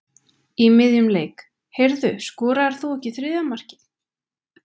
Í miðjum leik: Heyrðu, skoraðir þú ekki þriðja markið?